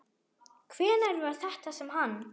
Hvenær var þetta sem hann.